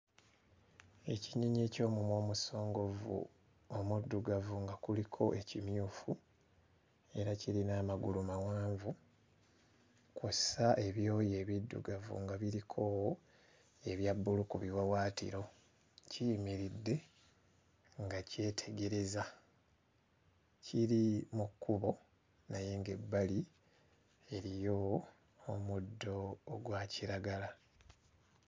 Ekinyonyi eky'omumwa omusongovu omuddugavu nga kuliko ekimyufu era kirina amagulu mawanvu kw'ossa ebyoya ebiddugavu nga biriko ebya bbulu ku biwawaatiro, kiyimiridde nga kyetegereza, kiri mu kkubo naye ng'ebbali eriyo omuddo ogwa kiragala.